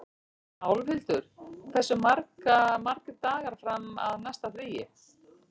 Álfhildur, hversu margir dagar fram að næsta fríi?